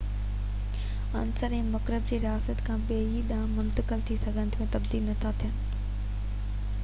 عنصر ۽ مرڪب هڪ رياست کان ٻئي ڏانهن منتقل ٿي سگهن ٿا ۽ تبديل نٿا ٿين